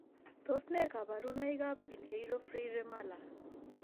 Tos nee kabarunaik ab Pinheiro Freire Mala